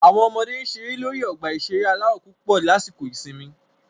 Àwọn ọmọdé ń ṣeré lórí ọgbà ìṣeré aláwọ̀ púpọ̀ lásìkò ìsinmi